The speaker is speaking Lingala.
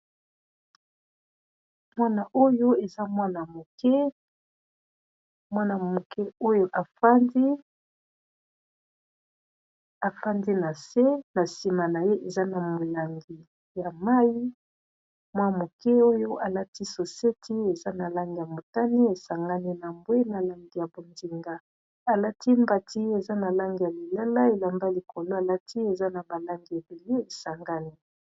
Mwana oyo eza mwana moke, mwana moke oyo afandi na se na nsima na ye eza na molangi ya mayi mwana moke oyo alati soseti eza na langi ya motani esangani na mbwe na langi ya bonzinga alati mbati eza na langi ya lilala elamba likolo alati eza na ba langi ebele esangani.